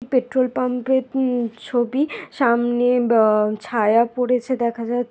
petrol pump এর ছবি সামনে আহ ছায়া পড়েছে দেখা যা--